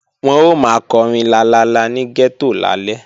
Wọ́n ó máa kọrin lalala ní gẹ́tò lálẹ́